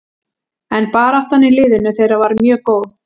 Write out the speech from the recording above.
En baráttan í liðinu þeirra var mjög góð.